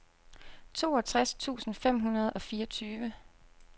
toogtres tusind fem hundrede og fireogtyve